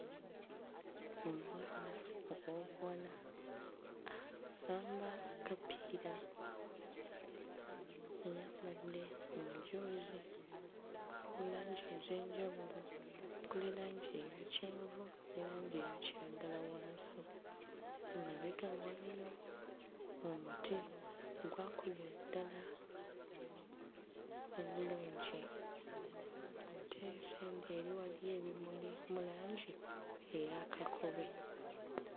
Omwana ow'obuwala asamba akapiira. Ayambadde omujoozi oguli mu langi ez'enjawulo okuli langi eya kyenvu ne langi eya kiragala wansi. Emabega we waliyo omuti ogwakulira ddala obulungi ate sayidi eri waliyo ebimuli mu langi eya kakobe.